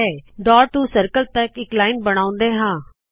ਚਲੋ ਇਸ ਡਾੱਟ ਤੋ ਸਰਕਲ ਤਕ ਇਕ ਲਾਇਨ ਬਣਾਉਂਦੇ ਹਾ